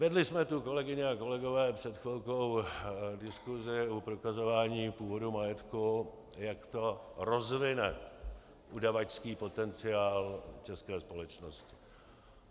Vedli jsme tu, kolegyně a kolegové, před chvílí diskusi o prokazování původu majetku, jak to rozvine udavačský potenciál české společnosti.